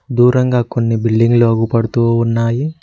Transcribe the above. దూరంగా కొన్ని బిల్డింగ్ లు అవుప డుతు ఉన్నాయి.